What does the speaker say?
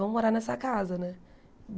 Vamos morar nessa casa, né?